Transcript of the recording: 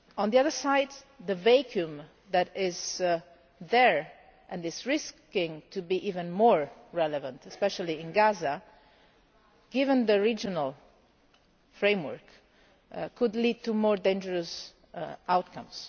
On the other side, the vacuum that is there and which risks being even more relevant, especially in Gaza, given the regional framework, could lead to even more dangerous outcomes.